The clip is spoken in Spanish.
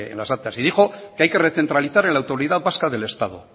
las actas y dijo que hay que recentralizar la autoridad vasca del estado